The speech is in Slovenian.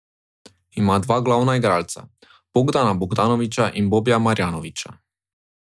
Ima dva glavna igralca, Bogdana Bogdanovića in Bobija Marjanovića.